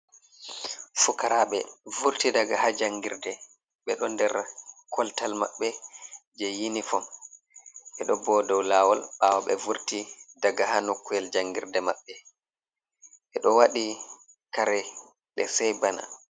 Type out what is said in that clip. Fukaraɓe, vurti daga ha jangirde. Ɓe ɗo nder koltal maɓɓe jei yinifom. Ɓe ɗo bo dow laawol ɓaawo ɓe vurti daga ha nokkuyel jangirde maɓɓe. Be ɗo waɗi kare ɗe sai bana.